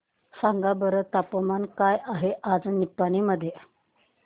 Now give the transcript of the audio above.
सांगा बरं तापमान काय आहे आज निपाणी मध्ये